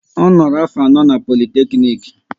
Ọ noro afọ anọ n'Politeknik